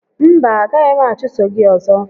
Mba, a gaghị m achụso gị ọzọ